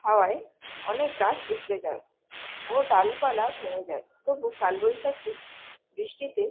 হাওয়ায় অনেক গাছ উপরে যায় ও ডালপালা ভেঙে যায় তবু কাল বৈশাখীর বৃষ্টিতে